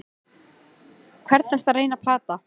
Hvern ertu að reyna að plata?